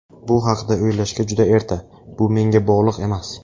Bu haqida o‘ylashga juda erta, bu menga bog‘liq emas.